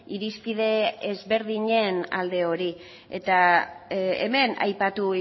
irizpide ezberdinen alde hori hemen aipatu